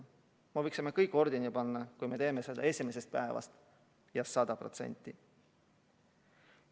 Me võiksime kõik ordeni rinda panna, kui me teeksime seda esimesest päevast ja 100%.